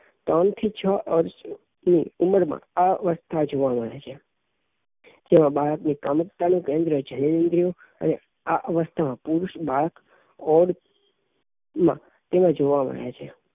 ત્રણ થી છ વર્ષ ની ઉંમર માં આ અવસ્થા જોવા મળે છે જેમાં બાળક ની કામુકતા નું કેન્દ્ર જનેન્દ્રિય અને આ અવસ્થા માં પુરુષ બાળક તેમાં જોવા મળે છે